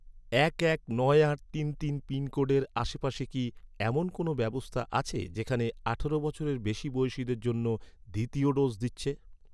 এক এক নয় আট তিন তিন এক আট পিনকোডের আশেপাশে কি, এমন কোনও ব্যবস্থা আছে, যেখানে আঠারো বছরের বেশি বয়সিদের জন্য দ্বিতীয় ডোজ দিচ্ছে?